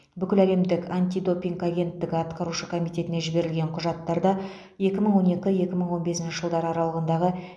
бүкіләлемдік антидопинг агенттігі атқарушы комитетіне жіберілген құжаттарда екі мың он екі екі мың он бесінші жылдар аралығындағы